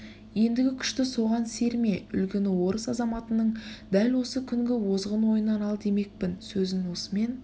ендігі күшті соған серме үлгіні орыс азаматының дәл осы күнгі озғын ойынан ал демекпін сөзін осымен